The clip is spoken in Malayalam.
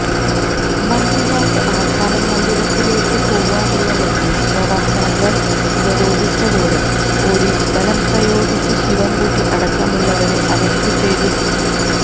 മന്ത്രിമാർക്ക് ആസ്ഥാന മന്ദിരത്തിലേക്ക് പോവാനുള്ള വഴിയും പ്രവർത്തകർ ഉപരോധിച്ചതോടെ പൊലീസ് ബലം പ്രയോഗിച്ച് ശിവൻകുട്ടി അടക്കമുള്ളവരെ അറസ്റ്റു ചെയ്തു നീക്കി